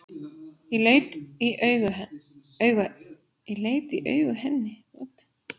Ég leit í augu henni.